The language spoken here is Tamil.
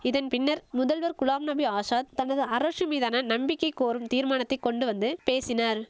இதன் பின்னர் முதல்வர் குலாம் நபி ஆசாத் தனது அரசு மீதான நம்பிக்கை கோரும் தீர்மானத்தை கொண்டு வந்து பேசினார்